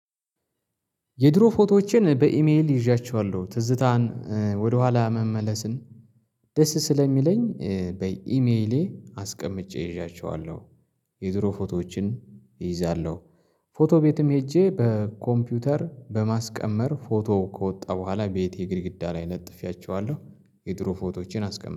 የድሮ ፎቶዎችን በኢሜል ይዣቸዋለሁ ትዝታን ወደኋላ መመለስን ደስ ስለሚለኝ በኢሜሌ አስቀምጬ ይዣቸዋለሁ። የድሮ ፎቶዎችን ይይዛለሁ። ፎቶ ቤትም ሄጄ በኮምፒውተር በማስቀመር ፎቶ ከወጣ በኋላ ቤቴ ግድግዳ ላይ ለጥፌያችኋለሁ። የድሮ ፎቶቼን አስቀምጠዋለሁ